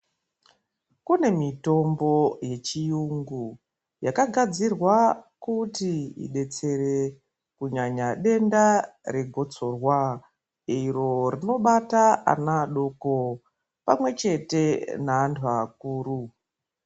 Kune mitombo yechiyungu yakagadzirwa kuti idetsere kunyanya denda regotsorwa iro rinobata ana adoko pamwe chete neanhu akuru